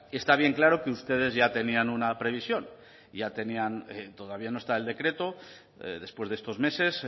está bien claro que ustedes ya tenían una previsión y ya tenían todavía no está el decreto después de estos meses